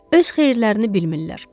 Öz xeyirlərini bilmirlər.